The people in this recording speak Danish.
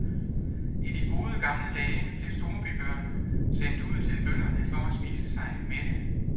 I de gode gamle dage blev storbybørn sendt ud til bønderne for at spise sig mætte.